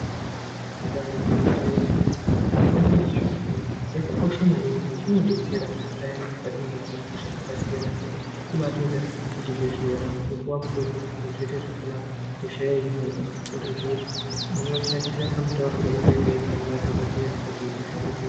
Ibari gwinyiso remene mitombo yechiyungu yakakosha maningi ngekuti inodetsera payani patinenge tine hosha dzakasiyana siyana kubaitoenda kuzvibhedhlera kumopuwa mutombo zviro zvoita zvakanaka hosha yohinika wotozoya kuti unoshanda kamutaurirwe kayakaita nadhogodheya kuti hosha ihinike.